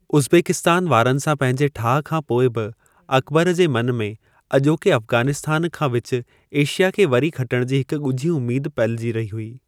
Uzbekistan वारनि सां पंहिंजे ठाहु खां पोइ बि, अकबर जे मन में अॼोके अफगानिस्तान खां विच एशिया खे वरी खटण जी हिक ॻुझी उम्मेद पलिजी रही हुई।